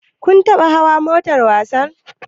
Kun gwada hawa motar wasan?